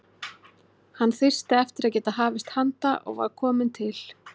Hann þyrsti eftir að geta hafist handa og var kominn til